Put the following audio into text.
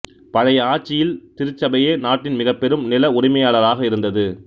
பழைய ஆட்சியில் திருச்சபையே நாட்டின் மிகப்பெரும் நில உரிமையாளராக இருந்தது